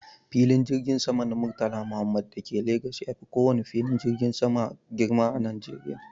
Filin jirgin sama na murtala muhammed dake Legas yafi kowane filin jirgin sama girma a Najeriya